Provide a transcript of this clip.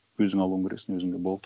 өзің алуын керексің өзіңе болды